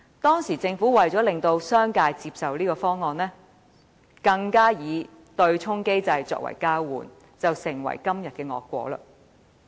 當時，政府為使商界接受強積金計劃，便以對沖機制作為交換，造成今日的惡果。